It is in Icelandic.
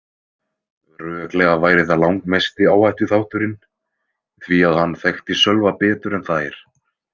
Röklega væri það langmesti áhættuþátturinn því að hann þekkti Sölva betur en þær.